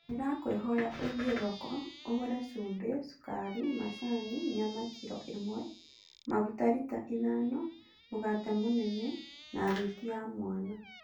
Ndĩrakũĩhoya ũthiĩ thoko, ũgũre cumbĩ, cũkari, macani, nyama kiro ĩmwe, maguta rita ithano, mũgate mũnene, na thwiti ya mwana.